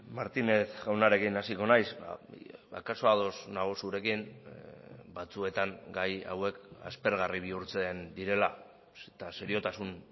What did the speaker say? martinez jaunarekin hasiko naiz akaso ados nago zurekin batzuetan gai hauek aspergarri bihurtzen direla eta seriotasun